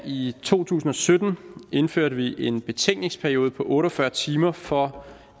i to tusind og sytten indførte en betænkningsperiode på otte og fyrre timer for